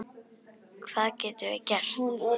Hvað getum við gert?